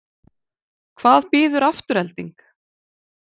Hvað býður Afturelding?